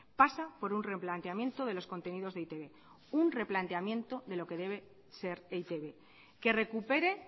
pasa por un replanteamiento de los contenidos de e i te be un replanteamiento de lo que debe ser e i te be que recupere